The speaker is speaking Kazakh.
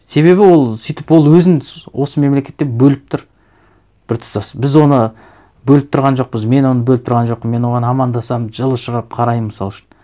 себебі ол сөйтіп ол өзін осы мемлекеттен бөліп тұр біртұтас біз оны бөліп тұрған жоқпыз мен оны бөліп тұрған жоқпын мен оған амандасамын жылұшырап қараймын мысал үшін